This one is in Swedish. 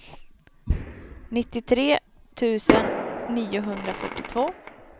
nittiotre tusen niohundrafyrtiotvå